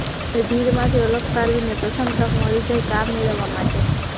તમને ભીડમાંથી અલગ તારવીને પ્રથમ તક મળી જાય કામ મેળવવા માટે